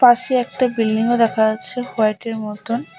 পাশে একটা বিল্ডিংও দেখা যাচ্ছে কয়টির মতন।